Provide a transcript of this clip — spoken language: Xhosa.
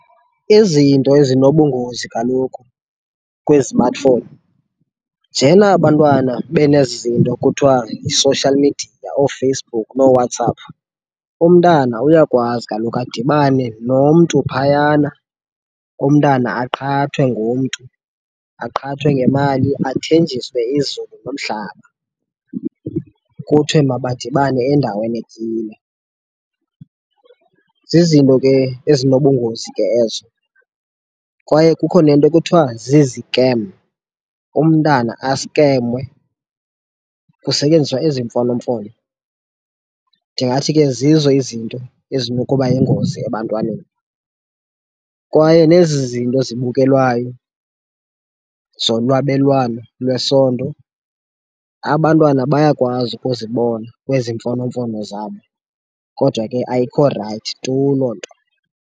Izinto ezinobungozi kaloku kwizimatifowuni, njena bantwana benezi zinto kuthiwa yi-social media, ooFacebook nooWhatsApp, umntana uyakwazi kaloku adibane nomntu phayana. Umntana aqhathwe ngumntu, aqhathwe ngemali, athenjiswe izulu nomhlaba, kuthiwe mabadibane endaweni ethile. Zizinto ke ezinobungozi ke ezo kwaye kukho nento kuthiwa zizikem, umntana askemwe kusetyenziswa ezi mfonomfono. Ndingathi ke zizo izinto ezinokuba yingozi ebantwaneni. Kwaye nezi zinto zibukelwayo zolwabelwano lwesondo, abantwana bayakwazi ukuzibona kwezi mfonomfono zabo, kodwa ke ayikho rayithi tu loo nto.